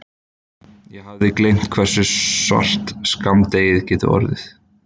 Ég hafði gleymt hversu svart skammdegið gat orðið.